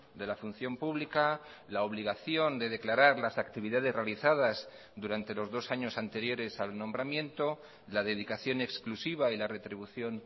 de la función pública la obligación de declarar las actividades realizadas durante los dos años anteriores al nombramiento la dedicación exclusiva y la retribución